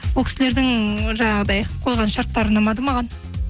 ол кісілердің жаңағыдай қойған шарттары ұнамады маған